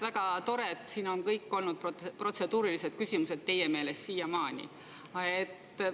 Väga tore, et teie meelest on siiamaani kõik küsimused olnud siin protseduurilised.